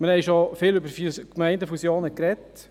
Wir haben schon oft über Gemeindefusionen gesprochen.